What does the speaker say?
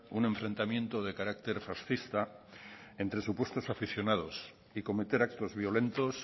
un enfrentamiento de carácter fascista entre supuestos aficionados y cometer actos violentos